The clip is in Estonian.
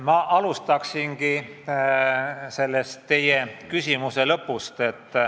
Ma alustaksin teie küsimuse lõpust.